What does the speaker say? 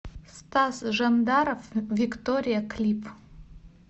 стас жандаров виктория клип